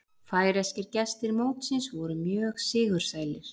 Færeyskir gestir mótsins voru mjög sigursælir